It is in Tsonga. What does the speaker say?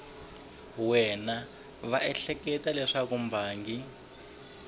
wana va ehleketa leswaku mbangi